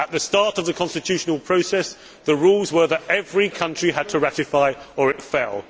At the start of the constitutional process the rules were that every country had to ratify or it fell.